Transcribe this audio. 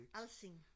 alsing